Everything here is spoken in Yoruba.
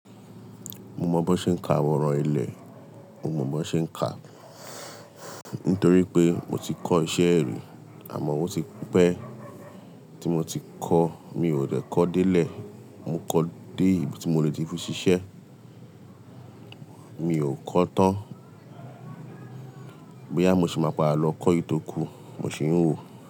Mo mọ̀ bọ ṣe ń ka awọn ọrọ ilẹ̀, mo mọ̀ bó ṣe ń ka nítorí pé mo ti kọ́ iṣẹ́ ẹ̀rí àmọ́ ó ti pẹ́ tí mo ti kọ́, mi ò dẹ̀ kọ́ dé lẹ̀, mo kọ́ dé ibi tí mo lè ti fún ṣiṣẹ́. Mi ò kọ́ tán. Bo yà mo ṣi máa pa'a lọ kọ́ èyí tó kú, mo ṣì ń wo.